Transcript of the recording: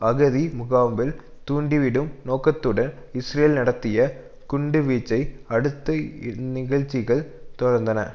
அகதி முகாமில் தூண்டிவிடும் நோக்கத்துடன் இஸ்ரேல் நடத்திய குண்டுவீச்சை அடுத்து இந்நிகழ்ச்சிகள் தொடர்ந்தன